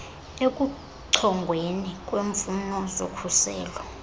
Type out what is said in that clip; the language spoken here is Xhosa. ekuchongweni kweemfuno zokhuselo